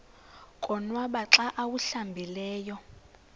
konwaba xa awuhlambileyo